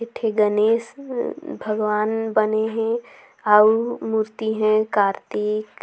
एक ठे गणेश ई बने हे अऊ मूर्ति हे कार्तिक--